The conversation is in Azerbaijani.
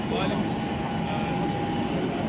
Və əksinə, elə bil ki qalsın.